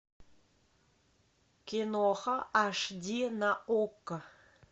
киноха аш ди на окко